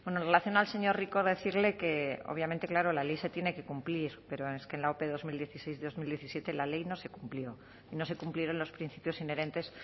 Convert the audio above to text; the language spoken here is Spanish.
en relación al señor rico decirle que obviamente claro la ley se tiene que cumplir pero es que en la ope dos mil dieciséis dos mil diecisiete la ley no se cumplió y no se cumplieron los principios inherentes